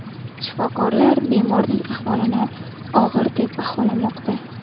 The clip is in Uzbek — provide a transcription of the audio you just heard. Shifokorlar bemorning ahvolini og‘ir deb baholamoqda.